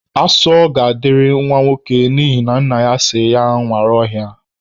Asọ ga-adịrị nwa ọkwa n'ihina nna ya si nwere ọhịa